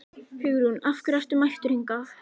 Hugrún: Af hverju ertu mættur hingað?